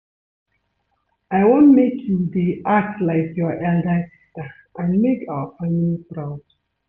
I wan make you dey act like your elder sister and make our family proud